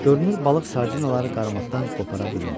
Görünür balıq sardinaları qarmaqdan qopara bilmir.